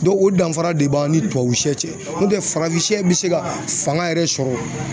o danfara de b'an ni tubabu sɛ cɛ n'o tɛ farafin bɛ se ka fanga yɛrɛ sɔrɔ